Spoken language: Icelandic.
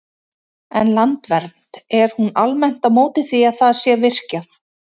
En Landvernd, er hún almennt á móti því að það sé virkjað?